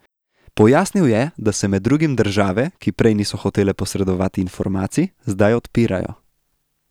Pojasnil je, da se med drugim države, ki prej niso hotele posredovati informacij, zdaj odpirajo.